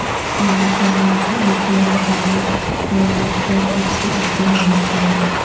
کیلی فورنیا کی ایک جوڑی جہاز ٹریلر پر اس کے اپنے گھر پیدا